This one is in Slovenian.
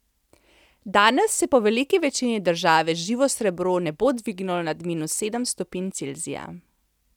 Danes se po veliki večini države živo srebro ne bo dvignilo nad minus sedem stopinj Celzija.